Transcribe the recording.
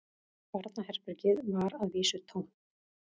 Barnaherbergið var að vísu tómt